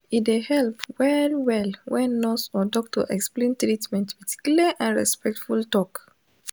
e dey help well well when nurse or doctor explain treatment with clear and respectful talk.